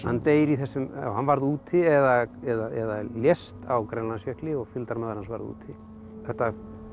deyr í þessu hann varð úti eða eða lést á Grænlandsjökli og fylgdarmaður hans varð úti þetta